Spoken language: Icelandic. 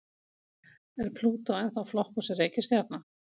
Er Plútó ennþá flokkuð sem reikistjarna?